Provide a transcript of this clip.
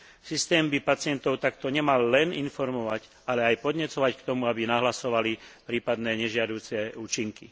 Systém by pacientov takto nemal len informovať, ale aj podnecovať k tomu, aby nahlasovali prípadné nežiaduce účinky.